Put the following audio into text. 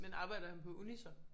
Men arbejder han på uni så?